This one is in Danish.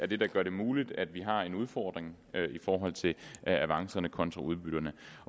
det der gør det muligt at vi har en udfordring i forhold til avancerne kontra udbytterne